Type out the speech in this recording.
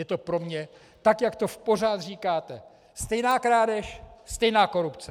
Je to pro mě tak, jak to pořád říkáte: stejná krádež, stejná korupce.